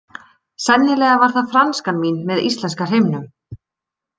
Sennilega var það franskan mín með íslenska hreimnum.